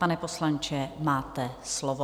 Pane poslanče, máte slovo.